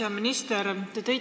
Hea minister!